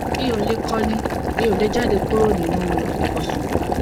mi ò lè kọni mi ò lè jáde kúrò nínú ibùsùn